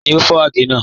Tani o fọ agẹ̀ naa?